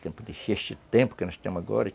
Tempo de, tempo que nós estamos agora.